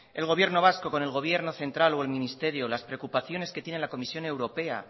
el gobierno vasco con el gobierno central o el ministerio las preocupaciones que tiene la comisión europea